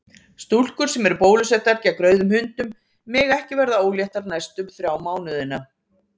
Stúlkur sem eru bólusettar gegn rauðum hundum mega ekki verða óléttar næstu þrjá mánuðina.